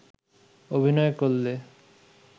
অভিনয় করলে